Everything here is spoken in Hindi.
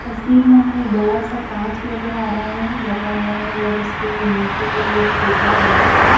तस्वीर में हमें बड़ा सा कांच नजर आ रहा है लगा हुआ है और उसके नीचे एक सोफा बड़ा सा--